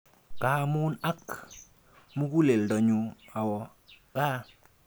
Kaamun ak muguleldanyu awo gaa.